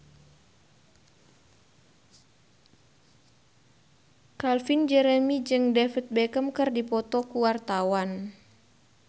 Calvin Jeremy jeung David Beckham keur dipoto ku wartawan